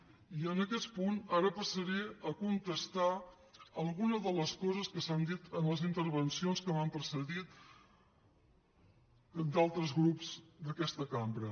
i en aquest punt ara passaré a contestar algunes de les coses que s’han dit en les intervencions que m’han precedit d’altres grups d’aquesta cambra